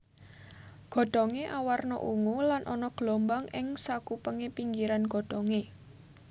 Godhongé awarna ungu lan ana gelombang ing sakupengé pinggiran godhongé